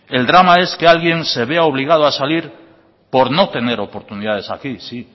el drama es que alguien se vea obligado a salir por no tener oportunidades aquí sí